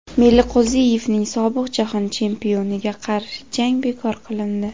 Meliqo‘ziyevning sobiq jahon chempioniga qarshi jangi bekor qilindi.